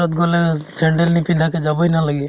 গলে sandal নিপিন্ধাকে যাবই নালাগে।